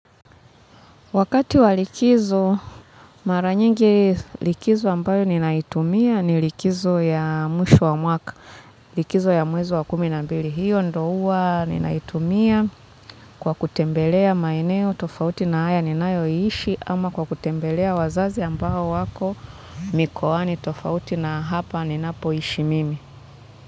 Wakati wa likizo, mara nyingi likizo ambayo ninaitumia ni likizo ya mwisho wa mwaka, likizo ya mwezo wa kumi na mbili. Hiyo ndo huwa ninaitumia kwa kutembelea maeneo, tofauti na haya ninayoishi, ama kwa kutembelea wazazi ambao wako mikoani, tofauti na hapa ninapoishi mimi.